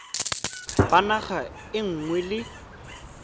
ba naga e nngwe le